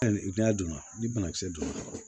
Hali n'a donna ni banakisɛ donna